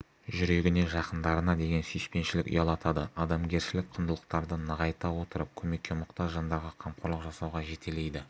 жүрегіне жақындарына деген сүйіспеншілік ұялатады адамгершілік құндылықтарды нығайта отырып көмекке мұқтаж жандарға қамқорлық жасауға жетелейді